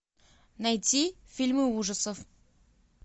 найти фильмы ужасов